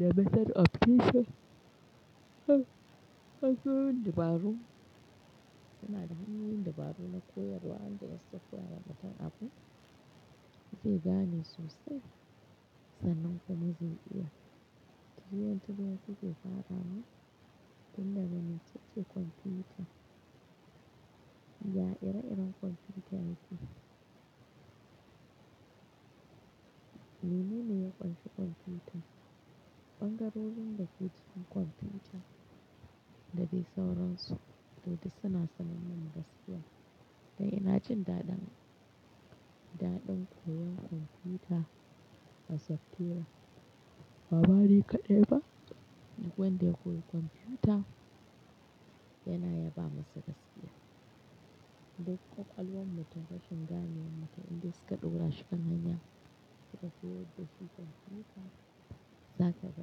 The method of teaching. Ha, haka ne ba ru. Suna da hanyoyin dabaru na koyarwa, wanda in suka koya wa mutum abu. Zai gane sosai, sannan kuma zai iya. Tiryan-tiryan suke farawa tun daga mecece komfuta. Ya ire-iren komfuta yake. Menene ya ƙunshi komfuta? Ɓangarorin da ke cikin komfuta da dai sauransu, to duk suna sanar mana gaskiya. To ina jin daɗin, daɗin koyon komfuta a software. Ba ma ni kaɗai ba? Duk wanda ya koyi komfuta, yana yaba musu gaskiya. Duk ƙwaƙwalwan mutum rashin ganewar mutum indai suka ɗora shi kan hanya, suka koyar da shi komfuta, za ka ga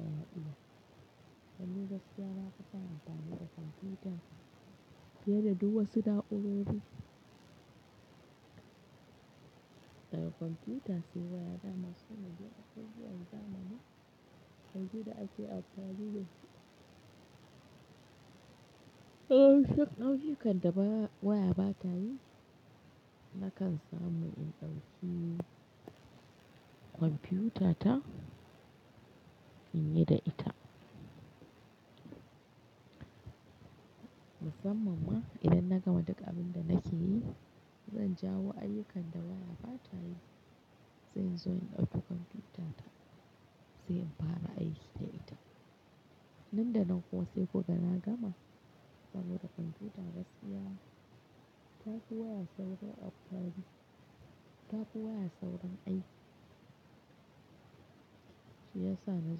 ya iya. Dan ni gaskiya na fi son amfani da komfuta, fiye da duk wasu na'urar. Daga komfuta sai waya dama sune dai abubuwani zamani, yanzu da ake amfani da su. Yawanci ayyukan da waya bata yi na kan samu in ɗauki. Kompiyutata in yi da ita. Musamman ma idan na gama duk abin da nake yi, zan jawo ayyukan da waya ba ta yi, sai in zo in ɗauki kompiyutata, sai in fara aiki da ita. Nan da nan kuwa sai ku ga na gama, saboda komfiyuta gaskiya ta fi waya saurin operating, ta fi waya saurin aiki. Shi ya sa na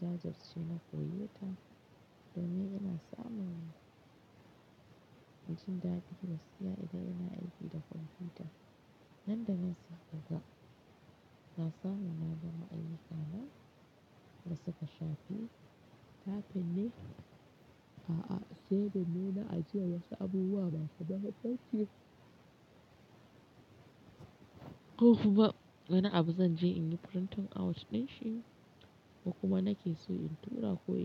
jajirce na koyeta, domin ina samun, jin daɗi gaskiya idan ina aiki da komfuta. Nan da nan sai ka ga, na samu na gama ayyukana da suka shafi. Tafin ne, a'a saving ne na ajiyar wasu abubuwa masu mahimmanci. Ko kuma wani abu zan je in yi print out ɗin shi, ko kuma nake so in tura ko in.